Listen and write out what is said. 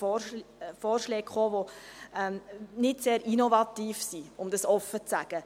Es kamen Vorschläge, welche nicht sehr innovativ sind, um dies offen zu sagen.